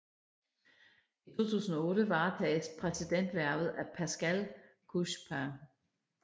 I 2008 varetages præsidenthvervet af Pascal Couchepin